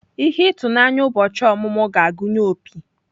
Ihe ịtụnanya ụbọchị ọmụmụ ga-agụnye opi.